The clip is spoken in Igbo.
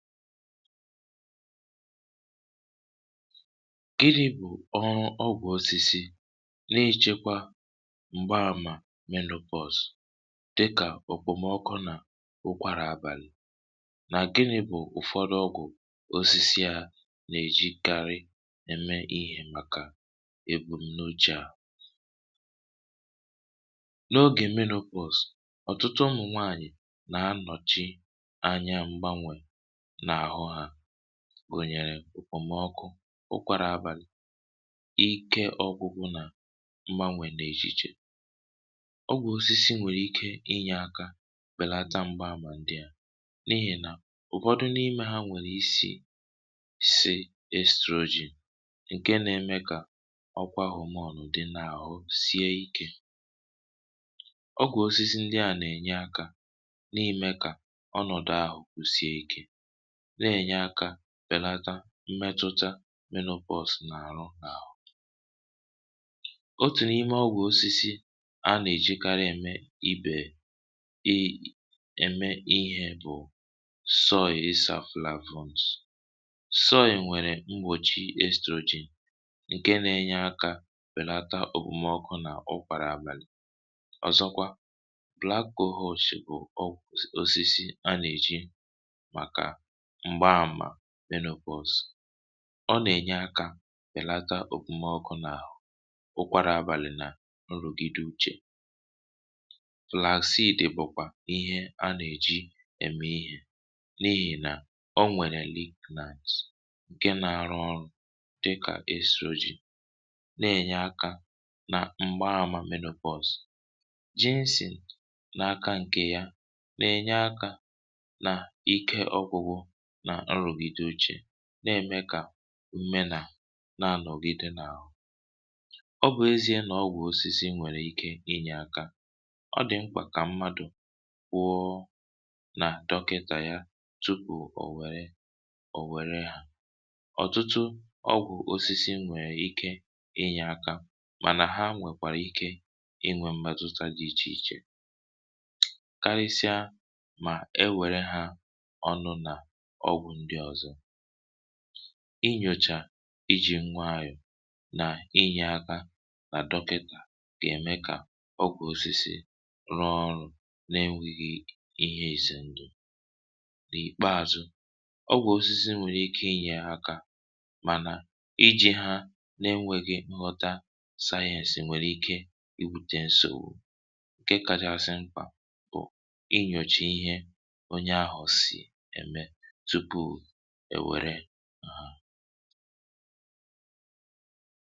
gịnị̇ bụ̀ ọrụ ọgwụ̀ osisi n’ịchịkwa m̀gbaàmà minopause dịkà ọ̀kpọ̀mọkụ nà ụkwàrà àbàlị̀? nà gịnị̇ bụ̀ ụ̀fọdụ ọgwụ̀ osisi à nà-èjikarị na-eme ihė maka èkpùm n’uchè? a gụ̀nyèrè òkpòmọkụ, ụkwàrà abàlị̀, ike ọ̇gwụ̇gwụ̇, nà mgbanwè nà echìchè. ọgwụ̀ osisi nwèrè ike inyė aka kpèlata mgbaahumà ndị à, n’ihì nà ụ̀kwọdụ n’ime ha nwèrè isì si ekstroji, ǹke nà-eme kà ọkwa hụ m ọnụ̇ dị n’àhụ sie ikė. ọgwụ̀ osisi ndị à nà-ènye akȧ n’ime kà ọnọ̀dụ àhụ̀ kwụ̀ sie ikė, na-ènye akȧ rèlata mmetụtamenopause n’àrụ n’àhụ. otù n’ime ọgwụ̀ osisi a nà-èjikarị eme ibè e eme nhị̇ bụ̀ soy. ịsà plafond soy nwèrè mgbòchi stroji, ǹke nȧ-ėnyė akȧ rèlata òbòmọkụ nà okpara abèlì. ọ̀zọkwa black cohosh bụ̀ osisi a nà-èji màkà m̀gba àmà menopause; ọ nà-ènye akȧ bèlata òkwumọkụ n’àhụ, ụkwara àbàlị, nà nrògide uchè. flaxid bụ̀kwà ihe a nà-èji ème ihė, n’ihì nà ọ nwèrè week nice, ǹke nà-àrụ ọrụ̇ dịkà esuyoji, nà-ènye akȧ nà m̀gba àmà menopause. jinsìn, n’aka ǹkè ya, na-ènye akȧ nà ike ọgwụ̇, na-ème kà mme na nà-anọ̀gide n’àhụ. ọ bụ ezie nà ọgwụ̀ osisi nwèrè ike inyè aka, ọ dị̀ mkpà kà mmadụ̀ kwụọ nà dọkịtà ya tupù ò wère hȧ. ọ̀tụtụ ọgwụ̀ osisi nwèe ike inyè aka, mànà ha nwèkwàrà ike inwė mmetuta dị ichè ichè. inyòchà iji̇ ngwa ànyụ nà inyè aka nà dọkịkà dì ème kà ọ gwȧ osìsì rụọ ọrụ̇ na-enwėghi ihe èse ndụ̀. nà ìkpeàzụ, ọgwụ̀ osisi nwèrè ike inyè aka, mànà iji̇ ha na-enwėghi nghọta sayẹ̇sì, nwèrè ike ibùte ǹsòwu. ǹke kàdị̀ àsị mkpà bụ̀ inyòchà ihe onye ahụ̀ sì ème ha.